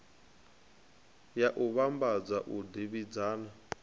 ya u vhambadza u davhidzana